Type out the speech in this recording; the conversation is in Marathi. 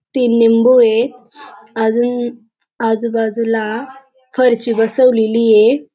तीन लिंबू ये अजून आजूबाजूला फरशी बसवलेली ये.